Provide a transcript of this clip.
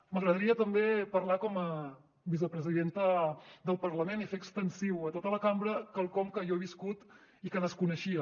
m’agradaria també parlar com a vicepresidenta del parlament i fer extensiu a tota la cambra quelcom que jo he viscut i que desconeixia